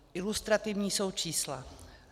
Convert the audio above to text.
Ilustrativní jsou čísla.